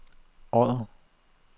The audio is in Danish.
Odder